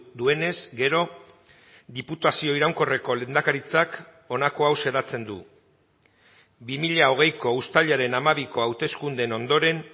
duenez gero diputazio iraunkorreko lehendakaritzak honako hau xedatzen du bi mila hogeiko uztailaren hamabiko hauteskundeen ondoren